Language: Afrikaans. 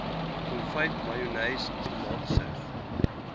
konfyt mayonnaise tomatiesous